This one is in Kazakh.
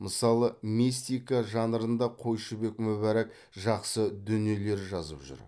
мысалы мистика жанрында қойшыбек мүбәрак жақсы дүниелер жазып жүр